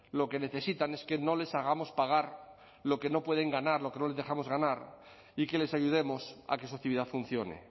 lo que necesitan es que no les hagamos pagar lo que no pueden ganar lo que no les dejamos ganar y que les ayudemos a que su actividad funcione